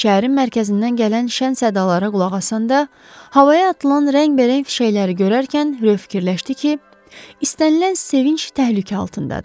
Şəhərin mərkəzindən gələn şən səsdalara qulaq asanda, havaya atılan rəngbərəng fişənglər görərkən Ro fikirləşdi ki, istənilən sevinc təhlükə altındadır.